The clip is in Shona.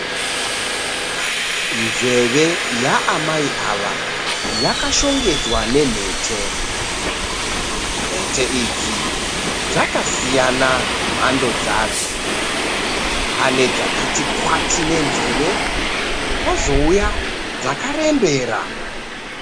Nzeve yaamai ava yakashongedzwa nemhete. Mhete idzi dzakasiyana mhando dzadzo. Pane dzakati kwati nenzeve kwozouya dzakarembera.